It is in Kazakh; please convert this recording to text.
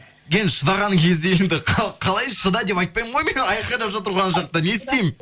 енді шыдаған кезде енді қалай шыда деп айтпаймын ғой айқайлап жатыр ғой ана жақта не істеймін